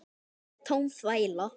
Það er tóm þvæla.